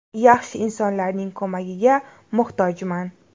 Yaxshi insonlarning ko‘magiga muhtojman.